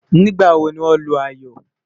nígbà wò ní wón Lu ayọ?